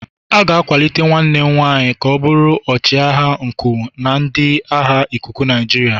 A ga-akwalite nwanne m nwanyị ka ọ bụrụ ọchịagha nku na ndị agha ikuku Nigeria.